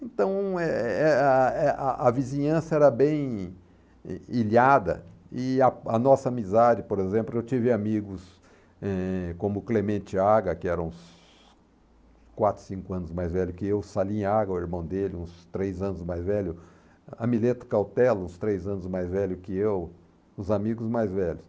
Então, eh eh a eh a a vizinhança era bem ilhada e a a nossa amizade, por exemplo, eu tive amigos, eh, como Clemente Aga, que era uns quatro, cinco anos mais velho que eu, Salim Aga, o irmão dele, uns três anos mais velho, Amileto Cautela, uns três anos mais velho que eu, os amigos mais velhos.